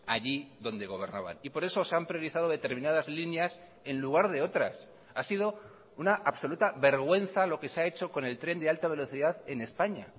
allí donde gobernaban y por eso se han priorizado determinadas líneas en lugar de otras ha sido una absoluta vergüenza lo que se ha hecho con el tren de alta velocidad en españa